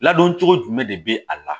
Ladon cogo jumɛn de bɛ a la